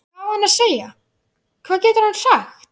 Hvað á hann að segja, hvað getur hann sagt?